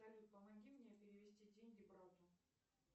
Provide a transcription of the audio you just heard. салют помоги мне перевести деньги брату